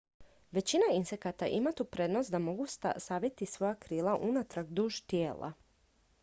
većina insekata ima tu prednost da mogu saviti svoja krila unatrag duž tijela